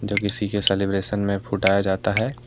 जो किसी के सेलिब्रेशन में फूटाया जाता है।